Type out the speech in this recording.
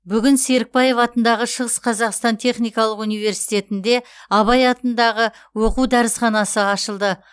бүгін серікбаев атындағы шығыс қазақстан техникалық университетінде абай атындағы оқу дәрісханасы ашылды